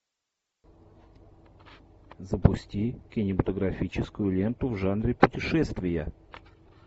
запусти кинематографическую ленту в жанре путешествия